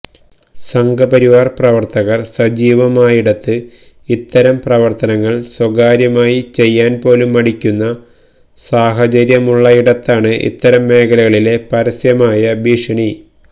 സംഘപരിവാർ പ്രവർത്തകർ സജീവമായിടത്ത് ഇത്തരം പ്രവർത്തനങ്ങൾ സ്വകാര്യമായി ചെയ്യാൻ പോലും മടിക്കുന്ന സാഹചര്യമുള്ളയിടത്താണ് ഇത്തരം മേഖലകളിലെ പരസ്യമായ ഭീഷണി